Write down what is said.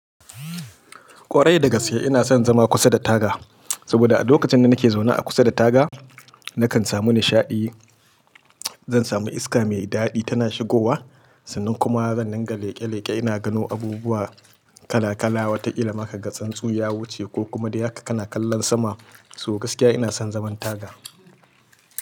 Kwarai da gaskiya ina son zama kusa da taga, saboda a lokacin da nake zaune a kusa da taga nakan samu nishaɗi. Zan sami iska mai daɗi tana shigowa sannan kuma zan dinga leƙe-leƙe ina gano abubuwa kala-kala wataƙila ma ka gan tsuntsu ya wuce ko kuma dai haka kana kallon sama. So gaskiya ina son zaman taga.